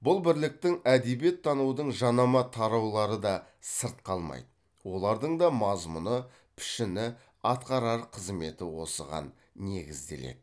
бұл бірліктің әдебиеттанудың жанама тараулары да сырт қалмайды олардың да мазмұны пішіні атқарар қызметі осыған негізделеді